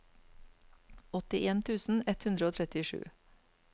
åttien tusen ett hundre og trettisju